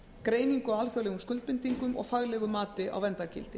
greiningu á alþjóðlegum skuldbindingum og faglegu mati á verndargildi